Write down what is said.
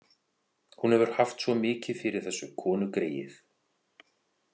Hún hefur haft svo mikið fyrir þessu, konugreyið.